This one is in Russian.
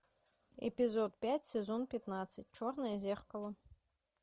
эпизод пять сезон пятнадцать черное зеркало